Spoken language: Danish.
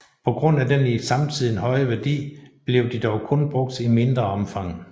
På grund af den i samtiden høje værdi blev de dog kun brugt i mindre omfang